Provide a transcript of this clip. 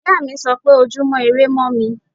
Ìyáàmi sọ pé Ojúmọ́ irẹ mọ́ mi.